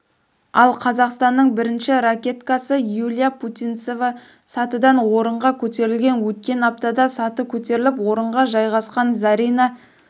ал қазақстанның бірінші ракеткасы юлия путинцева сатыдан орынға көтерілген өткен аптада саты көтеріліп орынға жайғасқан зарина